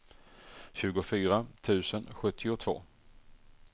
tjugofyra tusen sjuttiotvå